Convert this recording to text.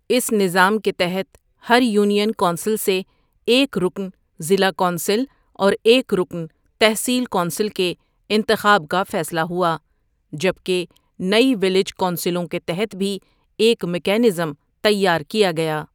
اس نظام کے تحت ہر یونین کونسل سے ایک رکن ضلع کونسل اور ایک رکن تحصیل کونسل کے انتخاب کا فیصلہ ہوا جبکہ نئی ویلیج کونسلوں کے تحت بھی ایک میکنزم تیار کیا گیا۔